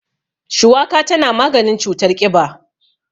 Shuwaka tana maganin cutar ƙiba.